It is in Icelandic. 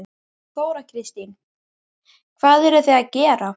Þóra Kristín: Hvað eruð þið að gera?